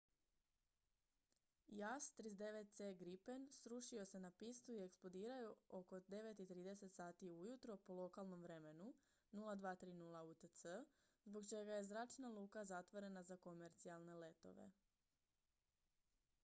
jas 39c gripen srušio se na pistu i eksplodirao oko 9:30 sati ujutro po lokalnom vremenu 0230 utc zbog čeka je zračna luka zatvorena za komercijalne letove